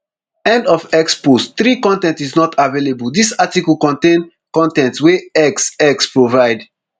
end of x post three con ten t is not available dis article contain con ten t wey x x provide